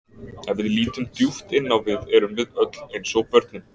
Ef við lítum djúpt inn á við erum við öll eins og börnin.